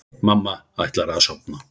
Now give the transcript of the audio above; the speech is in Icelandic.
Mamma ætlar að sofna.